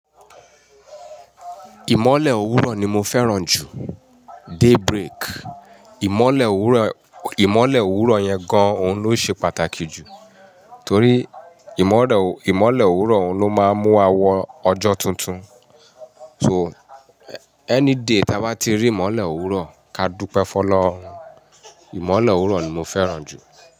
Ìmọ̀lẹ̀ òwúrọ̀ ni mo fẹ́ràn jù. Day break. Ìmọ̀lẹ̀ òwúrọ̀, ìmọ̀lẹ̀ òwúrọ̀ yẹn gan-an òun ló ṣe pàtàkì jù torí ìmọ̀lẹ̀, ìmọ̀lẹ̀ òwúrọ̀ òun ló máa ń mú wa wọ ọjọ́ tuntun. So any day tí a bá ti rí ìmọ̀lẹ̀ òwúrọ̀ ká dúpẹ́ fọ́ lọ. Ìmọ̀lẹ̀ òwúrọ̀ ni mo fẹ́ràn jù.